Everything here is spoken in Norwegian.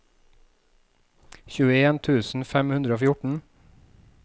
tjueen tusen fem hundre og fjorten